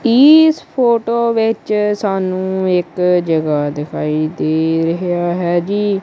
ਇਸ ਫੋਟੋ ਵਿੱਚ ਸਾਨੂੰ ਇੱਕ ਜਗ੍ਹਾ ਦਿਖਾਈ ਦੇ ਰਿਹਾ ਹੈ ਜੀ।